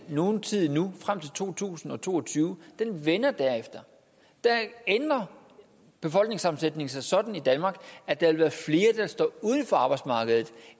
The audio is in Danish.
nogen tid endnu frem til to tusind og to og tyve og den vender derefter der ændrer befolkningssammensætningen sig sådan i danmark at der vil være flere der står uden for arbejdsmarkedet